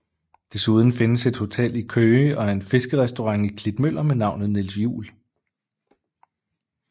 Desuden findes et hotel i Køge og en fiskerestaurant i Klitmøller med navnet Niels Juel